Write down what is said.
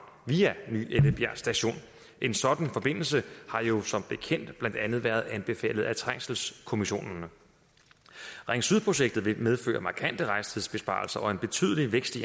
via ny ellebjerg station en sådan forbindelse har jo som bekendt blandt andet været anbefalet af trængselskommissionen ring syd projektet vil medføre markante rejsetidsbesparelser og en betydelig vækst i